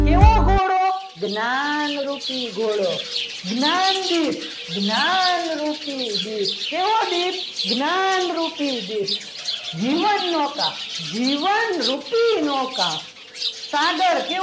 જ્ઞાનરૂપી ઘોડો જ્ઞાન દીઠ જ્ઞાનરૂપી કેવો દીપ જ્ઞાનરૂપી દીપ જીવન નવકાર જીવનરૂપી નવકાર સાગર કેવો